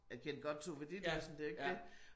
Jeg kendte godt Tove Ditlevsen det jo ikke det